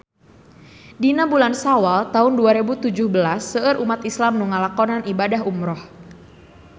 Dina bulan Sawal taun dua rebu tujuh belas seueur umat islam nu ngalakonan ibadah umrah